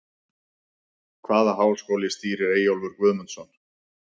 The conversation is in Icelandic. Hvaða háskóla stýrir Eyjólfur Guðmundsson?